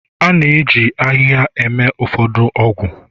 A na-eji ahịhịa eme ụfọdụ ọgwụ